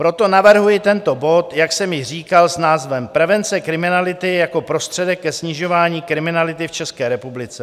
Proto navrhuji tento bod, jak jsem již říkal, s názvem Prevence kriminality jako prostředek ke snižování kriminality v České republice.